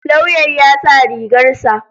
Lauyan ya sa rigar sa.